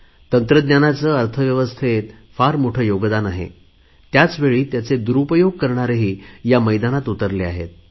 तंत्रज्ञानाचे अर्थव्यवस्थेत फार मोठे योगदान आहे तेव्हा त्याचे दुरुपयोग करणारेही या मैदानात उतरले आहेत